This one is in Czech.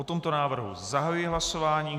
O tomto návrhu zahajuji hlasování.